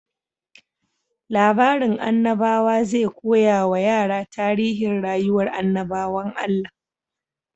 Labarin annabawa zai koya wa yara tarihin rayuwar annabawan Allah.